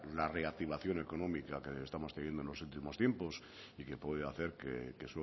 la reactivación económica que estamos teniendo en los últimos tiempos y que puede hacer que